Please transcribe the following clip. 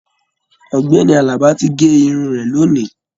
Ọ̀gbẹ́ni Àlàbá tí gé Irun rẹ lóni.